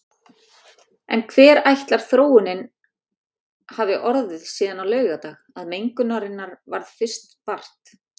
En hver ætlar þróunin hafi orðið síðan á laugardag, að mengunarinnar varð fyrst vart?